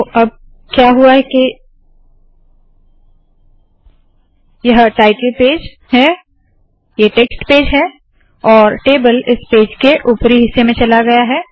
तो अब क्या हुआ है के यह टायटल पेज याने शीर्षक पेज है ये टेक्स्ट पेज है और टेबल इस पेज के उपरी हिस्से में चला गया है